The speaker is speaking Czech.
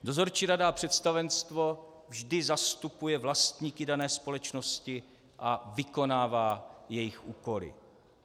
Dozorčí rada a představenstvo vždy zastupuje vlastníky dané společnosti a vykonává jejich úkoly.